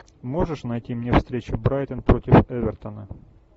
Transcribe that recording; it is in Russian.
можешь найти мне встречу брайтон против эвертона